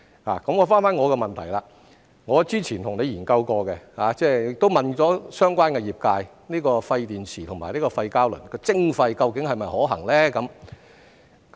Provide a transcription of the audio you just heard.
回到我的補充質詢，我之前曾與局長研究過，亦詢問了相關業界，廢電池和廢膠輪的徵費究竟是否可行呢？